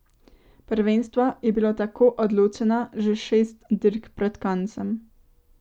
Prvenstvo je bilo tako odločeno že šest dirk pred koncem.